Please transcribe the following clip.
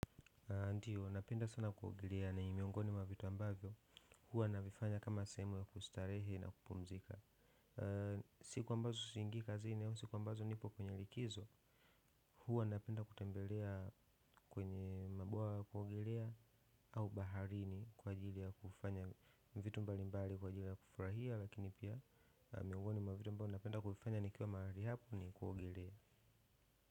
Ndiyo, napenda sana kuogelea na ni miongoni mwa vitu ambavyo huwa navifanya kama sehemu ya kustarehe na kupumzika siku ambazo siingii kazini au siku ambazo nipo kwenye likizo huwa napenda kutembelea kwenye mabuwa ya kuogelea au baharini kwa ajili ya kufanya vitu mbalimbali kwa ajili ya kufurahia lakini pia miongoni mwa vitu ambavyo napenda kufanya nikiwa mahali hapa ni kuogelea.